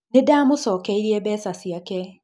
Ninda mũcokeirie mbeca ciake